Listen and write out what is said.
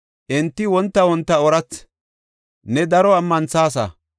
Enti wonta wonta oorathi; ne daro ammanthasa.